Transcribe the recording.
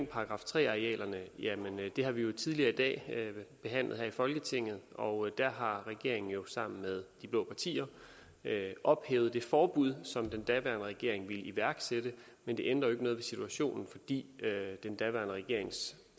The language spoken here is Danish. § tre arealerne det har vi jo tidligere i dag behandlet her i folketinget og der har regeringen jo sammen med de blå partier ophævet det forbud som den daværende regering ville iværksætte men det ændrer jo ikke noget ved situationen fordi den daværende regerings